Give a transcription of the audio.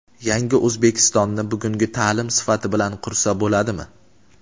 "Yangi O‘zbekiston"ni bugungi taʼlim sifati bilan qursa bo‘ladimi?.